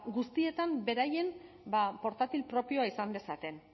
guztietan beraien portatil propioa izan dezaten